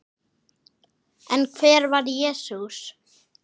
En hver var Jesús?